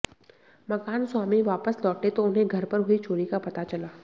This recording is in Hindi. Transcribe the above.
मकान स्वामी वापस लौटे तो उन्हें घर पर हुई चोरी का पता चला